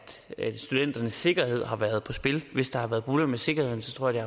studenternes sikkerhed har været på spil hvis der har været problemer med sikkerheden tror jeg